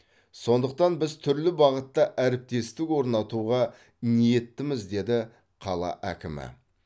сондықтан біз түрлі бағытта әріптестік орнатуға ниеттіміз деді қала әкімі